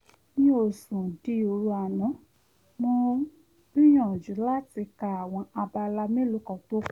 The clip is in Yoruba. mi ò sùn di òru àná mo ń gbìyànjú láti ka àwọn abala mélòó kan tó kù